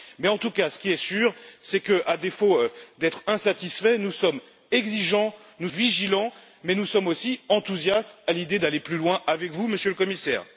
En tout cas, ce qui est sûr, c'est qu'à défaut d'être insatisfaits, nous sommes exigeants, vigilants, mais aussi enthousiastes à l'idée d'aller plus loin avec vous, Monsieur le Commissaire.